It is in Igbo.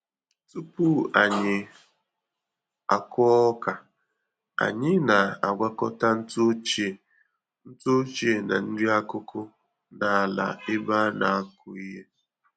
Tupu anyị akụ ọka, anyị na-agwakọta ntụ ochie ntụ ochie na nri-akụkụ n'ala ebe anakụ ihe.